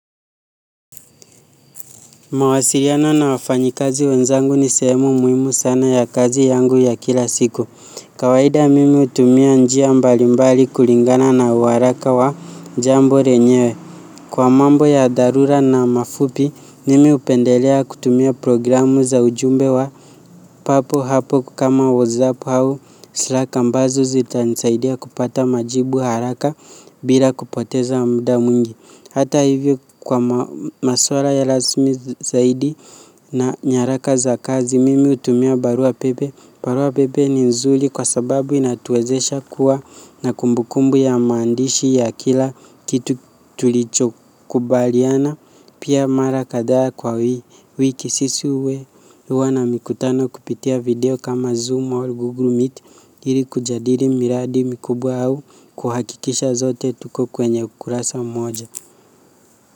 Mawasiliano na wafanyikazi wenzangu ni sehemu muimu sana ya kazi yangu ya kila siku. Kawaida mimi hutumia njia mbalimbali kulingana na uharaka wa jambo renyewe. Kwa mambo ya dharura na mafupi, nimi upendelea kutumia programu za ujumbe wa papo hapo kama WhatsApp hau, slack ambazo zitanisaidia kupata majibu haraka bila kupoteza mda mwingi. Hata hivyo kwa maswara ya lasmi zaidi na nyaraka za kazi mimi utumia barua pepe. Barua pepe ni nzuli kwa sababu inatuwezesha kuwa na kumbukumbu ya maandishi ya kila kitu tulicho kubaliana. Pia mara kadhaa kwa wiki sisi uwe hua na mikutano kupitia video kama zoom or google meet ili kujadili miradi mikubwa au kuhakikisha zote tuko kwenye ukurasa mmoja.